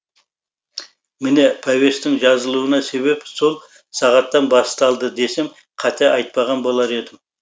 міне повестің жазылуына себеп сол сағаттан басталды десем қате айтпаған болар едім